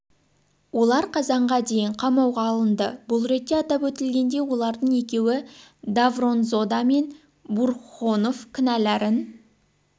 олар қазанға дейін қамауға алынды бұл ретте атап өтілгендей олардың екеуі давронзода мен бурхонов кінәларын